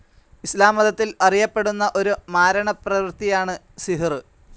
ഇസ്ലാം മതത്തിൽ അറിയപ്പെടുന്ന ഒരു മാരണപ്രവൃത്തിയാണ് സിഹുർ.